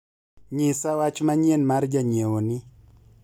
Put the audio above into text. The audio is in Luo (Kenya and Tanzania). nyisa wach manyien mar janyiewo ni